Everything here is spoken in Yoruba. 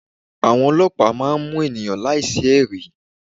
Àwọn olọ́pàá máa ń mú ènìyàn láì sí ẹ̀rí.